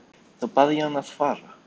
Þá bað ég hann að fara.